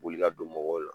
Wuli ka don mɔgɔw la